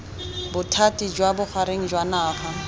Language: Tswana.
bothati jwa bogareng jwa naga